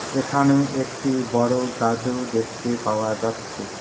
এখানে একটি বড় গাছও দেখতে পাওয়া যাচ্ছে।